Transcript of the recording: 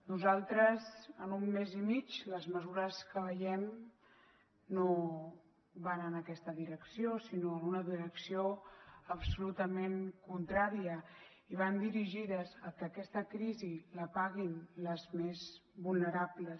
nosaltres en un mes i mig les mesures que veiem no van en aquesta direcció sinó en una direcció absolutament contrària i van dirigides a que aquesta crisi la paguin les més vulnerables